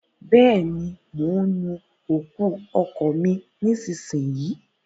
Bẹ́ẹ̀ ni, mò ń nu òkú ọkọ̀ mi nísinsìnyí